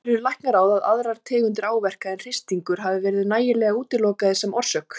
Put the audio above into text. Telur Læknaráð að aðrar tegundir áverka en hristingur hafi verið nægilega útilokaðir sem orsök?